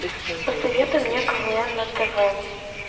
посоветуй мне квн на тв